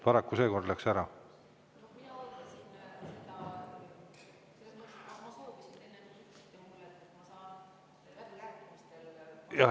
Paraku seekord läks nii.